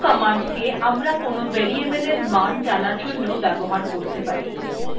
echo command কে আমরা কোনো variable we মান জানার জন্য ব্যবহার করতে পারি